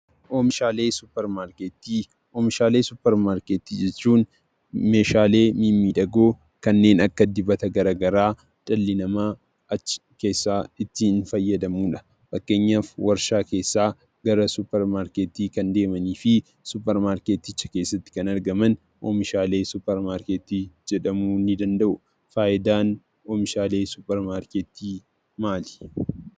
Oomishaalee suupermaarkeetii , Oomishaalee suupermaarkeetii jechuun Meeshaalee mimmiidhagoo kanneen akka dibata garaagaraa dhalli namaa achi keessaa itti fayyadamuudha. Fakkeenyaaf waarshaa keessaa gara suupermaarkeetii kan deemanii fi suupermaarkeeticha keessatti kan argaman oomishaalee suupermaarkeetii jedhamu ni danda'u. Fayidaan oomishaalee suupermaarkeetii maali?